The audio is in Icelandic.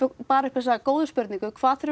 bar upp þessa góðu spurningu hvað þurfum